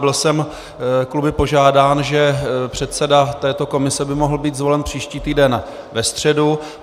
Byl jsem kluby požádán, že předseda této komise by mohl být zvolen příští týden ve středu.